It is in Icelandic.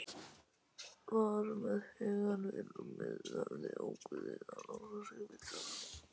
Var með hugann við rúmið, hafði ákveðið að losa sig við það.